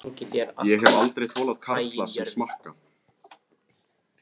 Ég hef aldrei þolað karla sem smakka.